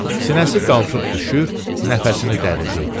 Sinəsi qalxıb düşür, nəfəsini dərirdi.